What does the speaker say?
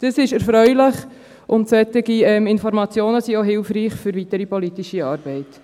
Dies ist erfreulich, und solche Informationen sind auch hilfreich für die weitere politische Arbeit.